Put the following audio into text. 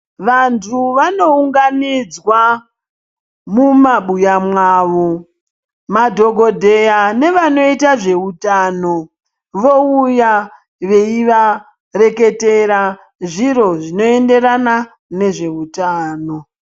Vandu vanounganidzwa mumabuya mwawo madhogodheya nevanoita zveutano vouya veyivareketera zviro zvinoyenderana nezvewutano.